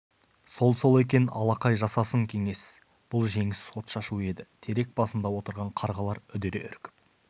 сол-сол екен алақай жасасын кеңес бұл жеңіс отшашуы еді терек басында отырған қарғалар үдере үркіп